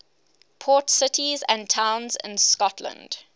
port cities and towns in scotland